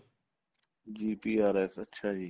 GPRS ਅੱਛਾ ਜੀ